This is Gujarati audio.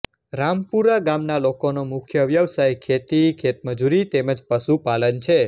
રામપુરા ગામના લોકોનો મુખ્ય વ્યવસાય ખેતી ખેતમજૂરી તેમ જ પશુપાલન છે